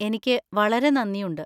എനിക്ക് വളരെ നന്ദിയുണ്ട്.